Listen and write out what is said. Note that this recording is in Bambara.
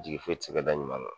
Jigi foyi ti se ka da ɲuman kan